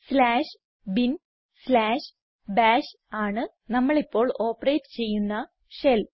slash bin slash bash ആണ് നമ്മൾ ഇപ്പോൾ ഓപ്പറേറ്റ് ചെയ്യുന്ന ഷെൽ